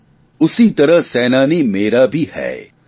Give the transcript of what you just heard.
उसी तरह सेनानी भी है शतशत नमन तुम्हैं